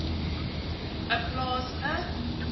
n plaas n